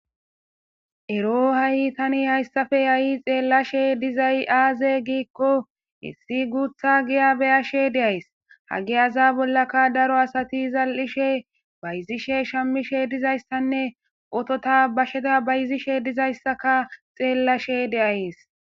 Ero ha'i tani hayssappe ha'i xeelashe dizay aaze gikko issi guuththa giya be'ashe de'ays; ha giyaza bollaka daro asati zal'ishe, bayzishe, shamishe dizayssanne otota, basheta bayzishe dizayssaka xeelashe de'ays.